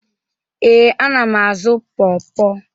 Ee, ana m azụ pọrpọr.